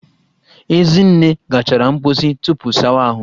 Ezinne gachara mposi tupu sawa ahụ